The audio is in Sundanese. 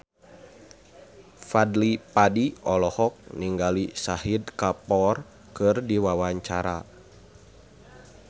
Fadly Padi olohok ningali Shahid Kapoor keur diwawancara